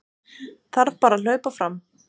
Þarf bara að hlaupa fram